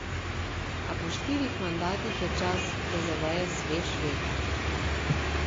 A po štirih mandatih je čas, da zaveje svež veter.